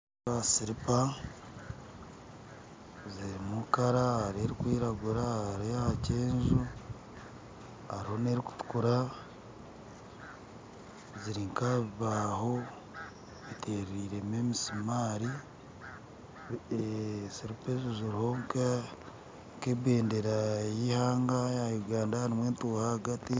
Nindeeba silipa zirimu kara hariho erikwiragura hariho eyakyenju hariho n'erikutukura ziri nka aha bibaaho ziteriremu emisuumari siliipa ezo ziriho nk'ebendeera y'eihanga eya Uganda hariho entuuha ahagati